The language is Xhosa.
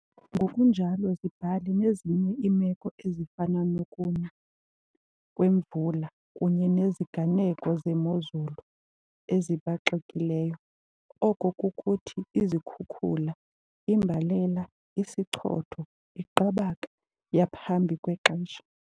Ngokunjalo zibhale nezinye iimeko ezifana nokuna kwemvula kunye neziganeko zemozulu ezibaxekileyo, oko kukuthi izikhukula, imbalela, isichotho, iqabaka yaphambi kwexesha.